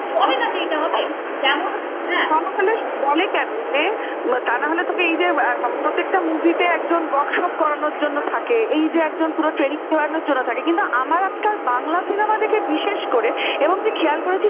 তা না হলে তো তোকে এই যে প্রত্যেকটা movie তে একজন workshop করানোর জন্য থাকে এই যে একজন পুরো হম যে একজন পুরো training করানোর জন্য থাকে কিন্তু আমার একটা বাংলা cinema থেকে বিশেষ করে এবং তুই খেয়াল করেছিস কিনা